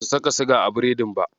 Basu saka siga a biredin ba.